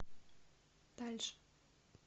дальше